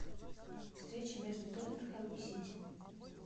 встреча между тоттенхэм и сити